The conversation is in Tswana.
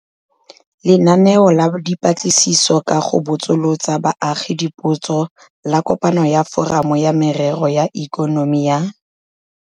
Lenaneo la Dipatlisiso ka go Botsolotsa Baagi Dipotso la Kopano ya Foramo ya Merero ya Ikonomi ya.